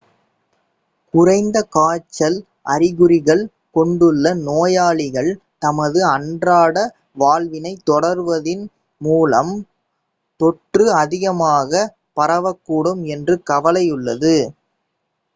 குறைந்த காய்ச்சல் அறிகுறிகள் கொண்டுள்ள நோயாளிகள் தமது அன்றாட வாழ்வினை தொடருவதன் மூலம் தொற்று அதிகமாக பரவக்கூடும் என்ற கவலையுள்ளது